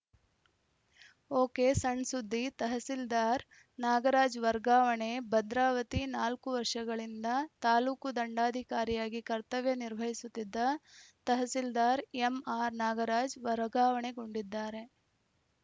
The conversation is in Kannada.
ಒಕೆಸಣ್‌ಸುದ್ದಿತಹಸೀಲ್ದಾರ್‌ ನಾಗರಾಜ್‌ ವರ್ಗಾವಣೆ ಭದ್ರಾವತಿ ನಾಲ್ಕು ವರ್ಷಗಳಿಂದ ತಾಲೂಕು ದಂಡಾಧಿಕಾರಿಯಾಗಿ ಕರ್ತವ್ಯ ನಿರ್ವಹಿಸುತ್ತಿದ್ದ ತಹಸೀಲ್ದಾರ್‌ ಎಂಆರ್‌ ನಾಗರಾಜ್‌ ವರ್ಗಾವಣೆಗೊಂಡಿದ್ದಾರೆ